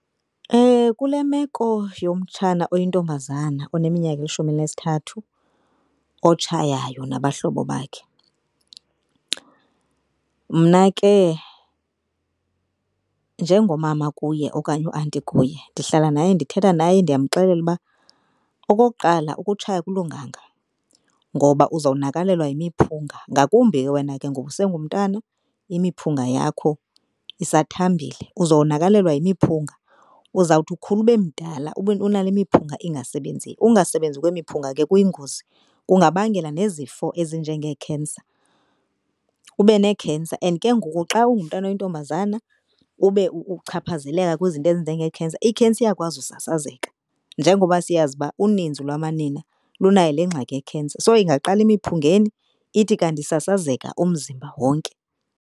Kule meko womtshana oyintombazana oneminyaka elishumi elinesithathu otshayayo nabahlobo bakhe. Mna ke njengomama kuye okanye u-aunty kuye, ndihlala naye ndithetha naye ndiyamxelela uba okokuqala ukutshaya akulunganga ngoba uzawunakalelwa yimiphunga. Ngakumbi ke wena ke ngoba usengumntana imiphunga yakho isathambile. Uzowonakalelwa yemiphunga uzawuthi ukhula ube mdala ube unale miphunga engasebenziyo. Ungasebenzi kwemiphunga ke kuyingozi kungabangela nezifo ezinjengee-cancer, ube nee-cancer and ke ngoku xa ungumntana oyintombazana ube uchaphazeleka kwizinto ezinjengee-cancer. i-cancer iyakwazi usasazeka njengoba siyazi uba uninzi lwamanina lunayo le ngxaki ye-cancer. So ingaqala emiphungeni ithi kanti isasazeka umzimba wonke.